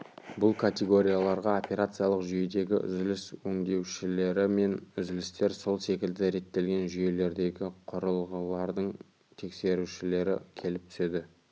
бұл категорияларға операциялық жүйедегі үзіліс өңдеушілері мен үзілістер сол секілді реттелген жүйелердегі құрылғылардың тексерушілері келіп түседі